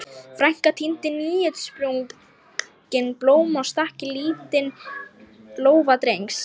Frænka tíndi nýútsprungin blóm og stakk í lítinn lófa Drengs.